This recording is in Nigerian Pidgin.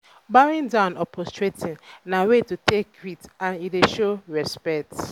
bowing down or prostrating na way to take greet and e dey show respect